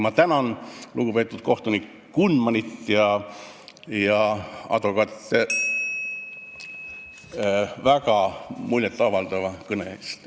Ma tänan lugupeetud kohtunik Kunmanit ja advokaate väga muljet avaldavate kõnede eest!